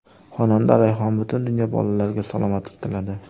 Xonanda Rayhon butun dunyo bolalariga salomatlik tiladi.